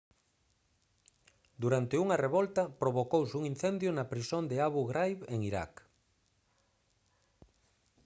durante unha revolta provocouse un incendio na prisión de abu ghraib en iraq